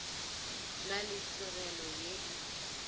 na le tlogelo ye e